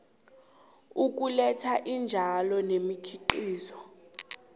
ukuletha iintjalo nemikhiqizo